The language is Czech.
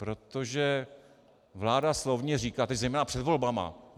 Protože vláda slovně říká, tedy zejména před volbami: